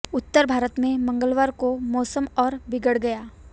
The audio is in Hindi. उत्तर भारत में मंगलवार को मौसम और बिगड़ गया